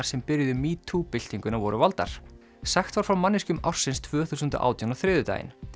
sem byrjuðu metoo byltinguna voru valdar sagt var frá manneskjum ársins tvö þúsund átján á þriðjudaginn